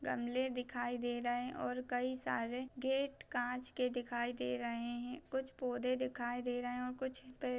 गमले दिखाई दे रहे हैं और कई सारे गेट कांच के दिखाई दे रहे हैं कुछ पौधे दिखाई दे रहे और कुछ पेड़--